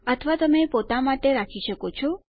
અથવા તેને પોતા માટે રાખી શકો છો